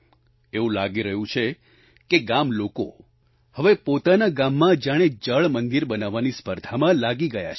એવું લાગી રહ્યું છે કે ગામના લોકો હવે પોતાના ગામમાં જાણે જળ મંદિર બનાવવાની સ્પર્ધામાં લાગી ગયા છે